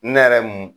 Ne yɛrɛ mun